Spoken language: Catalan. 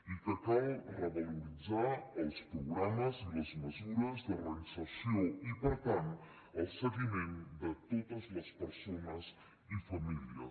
i que cal revaloritzar els programes i les mesures de reinserció i per tant el seguiment de totes les persones i famílies